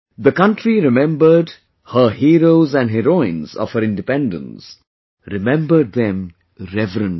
The country remembered te heroes and heroines of her Independence; remembered them reverently